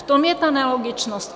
V tom je ta nelogičnost.